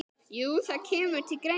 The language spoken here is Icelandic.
Jú, það kemur til greina.